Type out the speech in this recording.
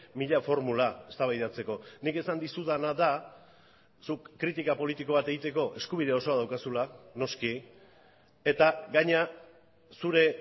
mila formula eztabaidatzeko nik esan dizudana da zuk kritika politiko bat egiteko eskubide osoa daukazula noski eta gainera zure